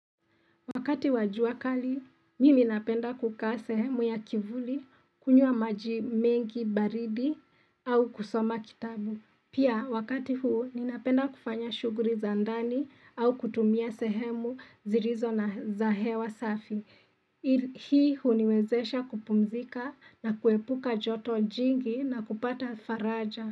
Wakati wa jua kali, mimi napenda kukaa sehemu ya kivuli, kunywa maji mengi, baridi, au kusoma kitabu. Pia, wakati huu, ninapenda kufanya shughuli za ndani au kutumia sehemu zilizo na za hewa safi. Hii huniwezesha kupumzika na kuepuka joto jingi na kupata faraja.